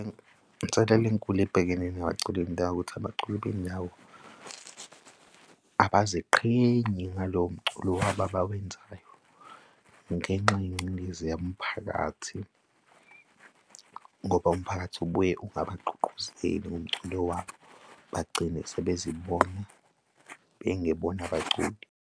Inselelo enkulu ebhekene nabaculi bendawo ukuthi abaculi bendawo abaziqhenyi ngalowo mculo wabo abawenzayo ngenxa, yengcindezi yomphakathi, ngoba umphakathi ubuye ungabagqugquzeli ngomculo wabo, bagcina sebezibona bengebona abaculi.